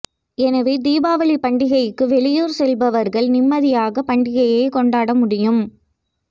எனவே தீபாவளி பண்டிகைக்கு வெளியூர் செல்பவர்கள் நிம்மதியாக பண்டிகையை கொண்டாட முடியும்